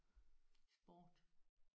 Sport